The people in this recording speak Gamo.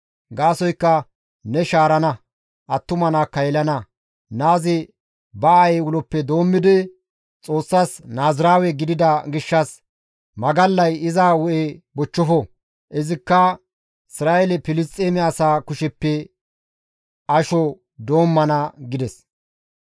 Gaasoykka ne shaarana; attuma naakka yelana. Naazi ba aayey uloppe doommidi, Xoossas Naaziraawe gidida gishshas magallay iza hu7e bochchofo; izikka Isra7eele Filisxeeme asaa kusheppe asho doommana» gides.